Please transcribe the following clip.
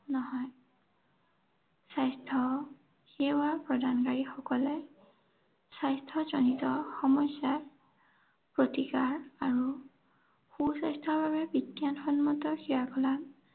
নহয়। স্বাস্থ্য সেৱা প্ৰদানকাৰীসকলে স্বাস্থ্যজনিত সমস্যাৰ প্ৰতিকাৰ আৰু সুস্বাস্থ্যৰ বাবে বিজ্ঞানসন্মত সেৱা প্ৰদান